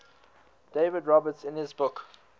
david roberts in his book